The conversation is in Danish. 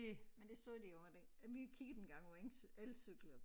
Men det så de jo at de at vi kiggede engang på eng elcykler